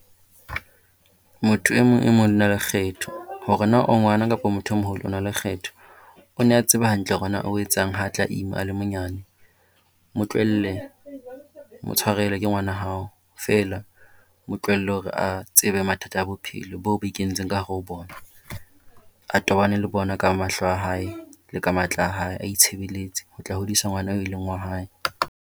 Motho e mong e mong o na le kgetho. Hore na o ngwana kapa motho e moholo o na le kgetho. O ne a tseba hantle hore na o etsang ha tla ima a le monyane. Mo tlohelle mo tswharele ke ngwana hao feela mo tlohelle hore a tsebe mathata a bophelo bo bo ikentseng ka hare ho bona. A tobane le bona ka mahlo a hae le ka matla a hae, a itshebeletse ho tla hodisa ngwana e leng wa hae.